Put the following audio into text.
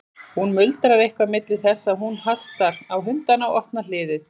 Hún muldrar eitthvað milli þess sem hún hastar á hundana og opnar hliðið.